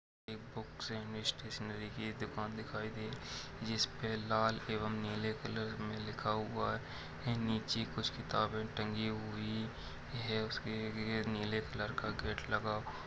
एक बुक्स सेमिस्टेशनरी की दुकान दिखाई दे जिसपे लाल एवं नीले कलर में लिखा हुआ है ऐ नीचे कुछ किताबे टंगी हुई है उसके गे-नीले कलर का गेट लगा--